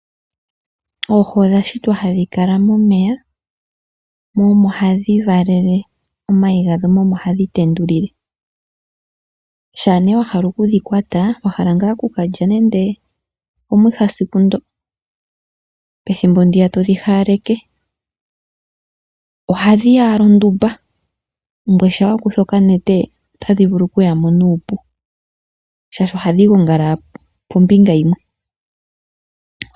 Oohi odhashitwa hadhi kala momeya mo omo hadhi valele omayi gadho mo omo hadhi tendulule, shampa nee wahala okudhikwata wahala ngaa okukulya nande omwiha esiku ndoka pethimbo ndoka todhi hawaleke ohadhiya ashike ondumba shampa wakutha okanete otadhi vulu okuyamo nuupu oshoka ohadhi gongala pombinga yimwe.